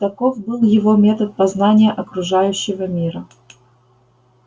таков был его метод познания окружающего мира